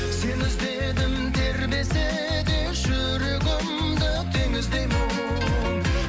сені іздедім тербесе де жүрегімді теңіздей боп